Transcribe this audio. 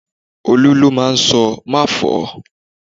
Olu ló máa ń sọ 'má fọ̀ọ́'